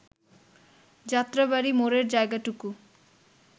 যাত্রাবাড়ী মোড়ের জায়গাটুকু